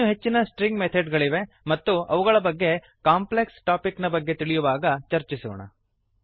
ಇನ್ನು ಹೆಚ್ಚಿನ string method ಗಳಿವೆ ಮತ್ತು ಅವುಗಳ ಬಗ್ಗೆ ಕಾಂಪ್ಲೆಕ್ಸ್ ಟಾಪಿಕ್ ನ ಬಗ್ಗೆ ತಿಳಿಯುವಾಗ ಚರ್ಚಿಸೋಣ